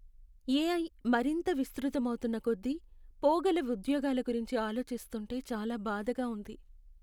AI మరింత విస్తృతమవుతున్న కొద్దీ, పోగల ఉద్యోగాల గురించి ఆలోచిస్తుంటే చాలా బాధగా ఉంది.